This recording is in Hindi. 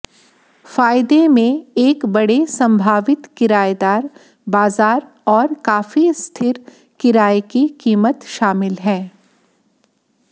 फायदे में एक बड़े संभावित किरायेदार बाजार और काफी स्थिर किराये की कीमत शामिल है